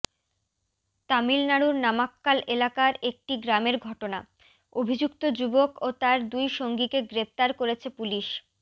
তামিলনাড়ুর নামাক্কাল এলাকার একটি গ্রামের ঘটনা অভিযুক্ত যুবক ও তার দুই সঙ্গীকে গ্রেফতার করেছে পুলিশ